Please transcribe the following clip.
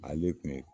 Ale kun ye